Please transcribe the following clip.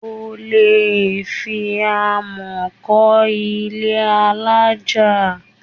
O ò lè fi amọ̀ kọ́ ilé alájà.